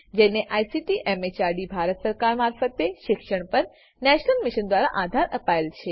જેને ICT MHRD Bharat સરકાર મારફતે શિક્ષણ પર નેશનલ મિશન દ્વારા આધાર અપાયેલ છે